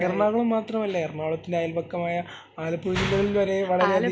എറണാകുളം മാത്രം അല്ല എറണാകുളത്തിലെ അയൽവക്കമായ ആലപ്പുഴ ജില്ലകളിൽ വരെ